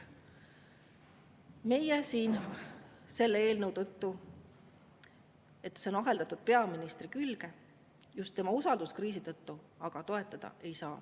Meie aga siin, selle tõttu, et see eelnõu on aheldatud peaministri külge, just tema usalduskriisi tõttu, seda toetada ei saa.